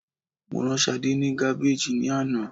Mo rán Sadé ni Gabbage ni ana